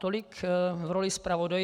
Tolik v roli zpravodaje.